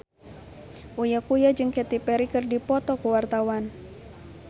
Uya Kuya jeung Katy Perry keur dipoto ku wartawan